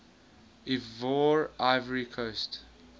ivoire ivory coast